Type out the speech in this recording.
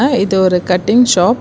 அ இது ஒரு cutting shop .